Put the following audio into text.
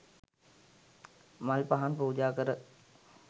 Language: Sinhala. මල් පහන් පූජා කර